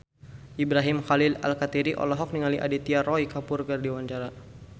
Ibrahim Khalil Alkatiri olohok ningali Aditya Roy Kapoor keur diwawancara